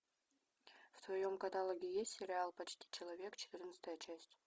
в твоем каталоге есть сериал почти человек четырнадцатая часть